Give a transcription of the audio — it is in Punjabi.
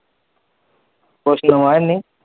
ਕੁਛ ਨਵਾਂ ਹੈ ਨੀ?